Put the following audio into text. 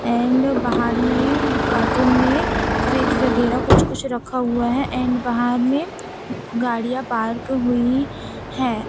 And बाहर में cartoon में फ्रिज वगैरह कुछ कुछ रखा हुआ है एंड बाहर में गाड़िया पार्क हुई हैं।